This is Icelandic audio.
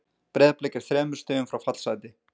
Breiðablik er þremur stigum frá fallsæti.